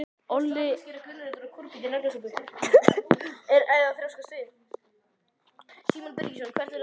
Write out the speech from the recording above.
Allt og ekkert